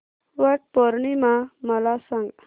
वट पौर्णिमा मला सांग